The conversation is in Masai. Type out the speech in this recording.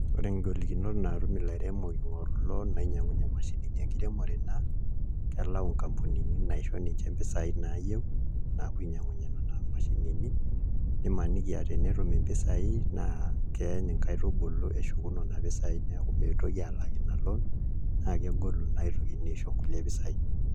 Ore ngolikinot naatum ilairemok ing'oru loon nainyiang'unyie imashinini enkiremore naa kelau nkampunini naisho ninche impisaai naayieu naapuo ainyiang'unyie nena mashinini nimaniki aa tenetum mpisaai naa keeny nkaitubulu eshuku nena pisaai neeku mitoki aalak ina loon, naa kegolu naa pee itokini aisho nkulie pisaai.